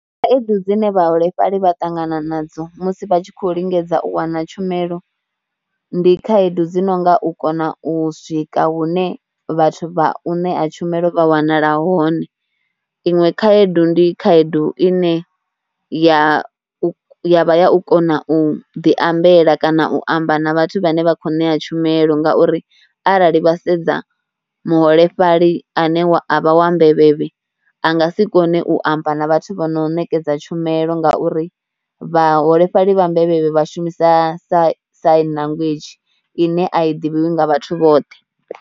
Khaedu dzine vhaholefhali vha ṱangana nadzo musi vha tshi khou lingedza u wana tshumelo, ndi khaedu dzi nonga u kona u swika hune vhathu vha ṋea tshumelo vha wanala hone. Iṅwe khaedu ndi khaedu ine ya vha ya u kona u ḓiambela kana u amba na vhathu vhane vha kho ṋea tshumelo ngauri arali vha sedza muholefhali ane a vha wa mbevhevhe, a nga si kone u amba na vhathu vho no ṋekedza tshumelo ngauri vhaholefhali vha mbevhevhe vha shumisa sa sign language ine a i ḓivhiwi nga vhathu vhoṱhe.